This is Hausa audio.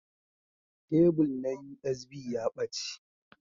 Kebul na USB ya ɓace.